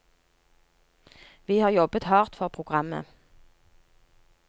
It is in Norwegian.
Vi har jobbet hardt for programmet.